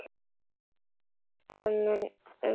Það munar um hvert stig.